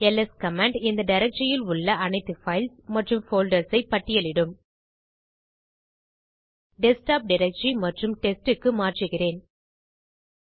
LS command இந்த டைரக்டரியில் உள்ள அனைத்து பைல்ஸ் மற்றும் போல்டர்ஸ் ஐ பட்டியல் இடும் டெஸ்க்டாப் டைரக்டரி மற்றும் டெஸ்ட் க்கு மாற்றுகிறேன்